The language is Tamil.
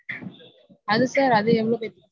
அது sir? அது எவ்ளோ பேத்துக்கு